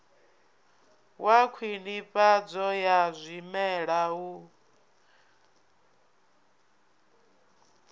wa khwinifhadzo ya zwimela u